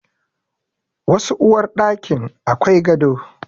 Wasu uwarɗakin akwai gado.